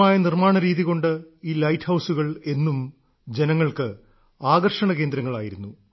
സുന്ദരമായ നിർമ്മാണരീതി കൊണ്ട് ഈ ലൈറ്റ് ഹൌസുകൾ എന്നും ജനങ്ങൾക്ക് ആകർഷണകേന്ദ്രങ്ങളായിരുന്നു